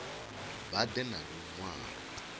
vha ḓe na lu ṅwalo